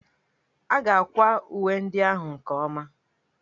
A ga-akwa uwe ndị ahụ nke ọma